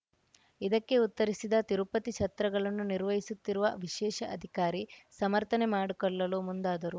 ಇದಕ್ಕೆ ಉತ್ತರಿಸಿದ ತಿರುಪತಿ ಛತ್ರಗಳನ್ನು ನಿರ್ವಹಿಸುತ್ತಿರುವ ವಿಶೇಷ ಅಧಿಕಾರಿ ಸಮರ್ಥನೆ ಮಾಡಿಕೊಳ್ಳಲು ಮುಂದಾದರು